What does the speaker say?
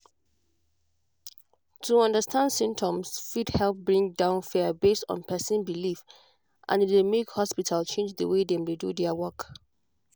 to understand symptoms fit help bring down fear based on person belief and e dey make hospital change the way dem dey do their work.